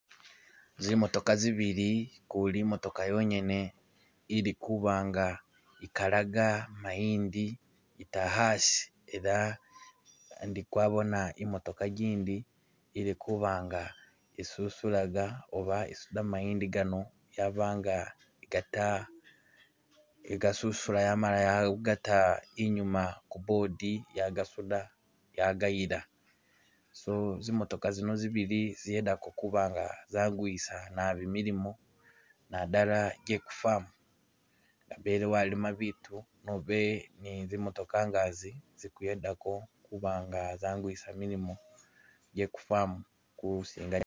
Zimotoka zibili, ukuli imotoka yonyene ilikuba nga ikalaga mayindi ita hasi era ndi kwabona imotoka igindi ilikuba nga isusulaga oba isuda mayindi gano yaba nga igata- igasusula yamala ya gata inyuma ku board yagasuda yagayila, so zimotoka zino zibili ziyedako kuba nga zanguwisa naabi milimo nadala je ku farm, nga bele walima bitu nobe ni zimotoka nga zi zikuyedako kuba nga zanguwisa milimo je ku farm kusinga.